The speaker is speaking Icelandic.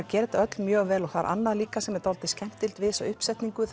gera þetta öll mjög vel og það er annað líka sem er skemmtilegt við þessa uppsetningu